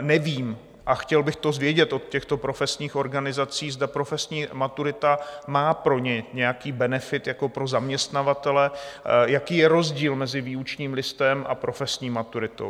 nevím, a chtěl bych to vědět od těchto profesních organizací, zda profesní maturita má pro ně nějaký benefit jako pro zaměstnavatele, jaký je rozdíl mezi výučním listem a profesní maturitou.